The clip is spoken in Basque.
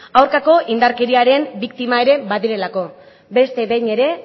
aurkako indarkeriaren biktima ere badirelako beste behin ere